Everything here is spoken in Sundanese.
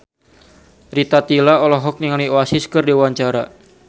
Rita Tila olohok ningali Oasis keur diwawancara